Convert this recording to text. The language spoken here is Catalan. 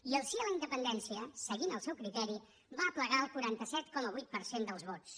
i el sí a la independència seguint el seu criteri va aplegar el quaranta set coma vuit per cent dels vots